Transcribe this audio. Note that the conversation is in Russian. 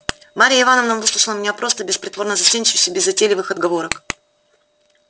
марья ивановна выслушала меня просто без притворной застенчивости без затейливых отговорок